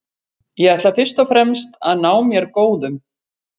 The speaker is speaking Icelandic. Ég ætla fyrst og fremst að ná mér góðum.